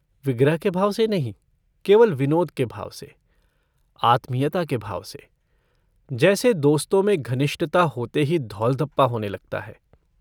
विग्रह के भाव से नहीं केवल विनोद के भाव से आत्मीयता के भाव से जैसे दोस्तों में घनिष्टता होते ही धौलघप्पा होने लगता है।